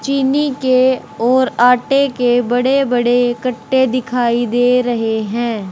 चीनी के ओर आटे के बड़े बड़े कट्टे दिखाई दे रहे हैं।